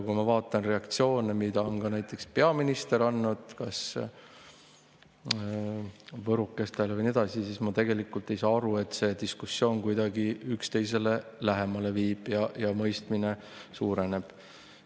Kui ma vaatan reaktsioone, mis on näiteks peaministril olnud, võrokestega ja nii edasi, siis ma ei saa aru, et see diskussioon kuidagi üksteisele lähemale viiks ja mõistmine suureneks.